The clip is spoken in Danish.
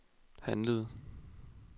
handlede